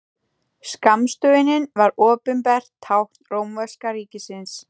Skammstöfunin varð opinbert tákn rómverska ríkisins.